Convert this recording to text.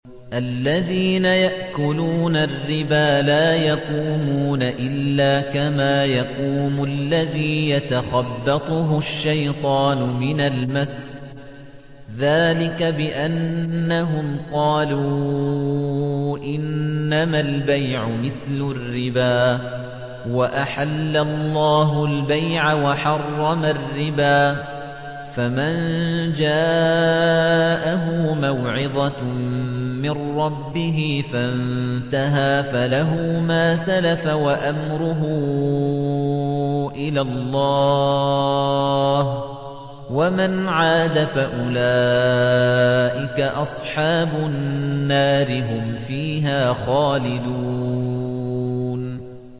الَّذِينَ يَأْكُلُونَ الرِّبَا لَا يَقُومُونَ إِلَّا كَمَا يَقُومُ الَّذِي يَتَخَبَّطُهُ الشَّيْطَانُ مِنَ الْمَسِّ ۚ ذَٰلِكَ بِأَنَّهُمْ قَالُوا إِنَّمَا الْبَيْعُ مِثْلُ الرِّبَا ۗ وَأَحَلَّ اللَّهُ الْبَيْعَ وَحَرَّمَ الرِّبَا ۚ فَمَن جَاءَهُ مَوْعِظَةٌ مِّن رَّبِّهِ فَانتَهَىٰ فَلَهُ مَا سَلَفَ وَأَمْرُهُ إِلَى اللَّهِ ۖ وَمَنْ عَادَ فَأُولَٰئِكَ أَصْحَابُ النَّارِ ۖ هُمْ فِيهَا خَالِدُونَ